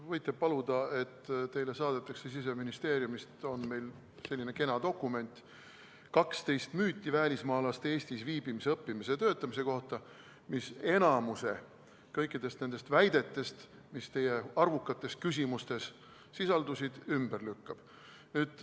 Te võite paluda, et teile saadetakse Siseministeeriumist selline kena dokument nagu "12 müüti välismaalaste Eestis viibimise, õppimise ja töötamise kohta", mis enamiku kõikidest nendest väidetest, mis teie arvukates küsimustes sisaldusid, ümber lükkab.